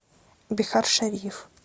бихаршариф